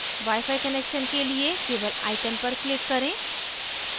wifi connections के लिए केवल icon पर click करें